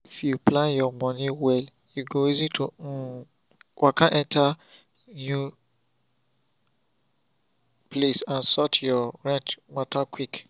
if you plan your money well e go easy to um waka enter new place and sort rent matter quick